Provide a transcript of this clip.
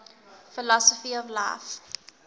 philosophy of life